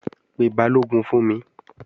Pe Balógun fún mi!